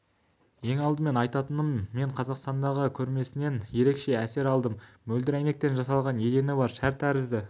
ең алдымен айтатыным мен қазақстандағы көрмесінен ерекше әсер алдым мөлдір әйнектен жасалған едені бар шар тәрізді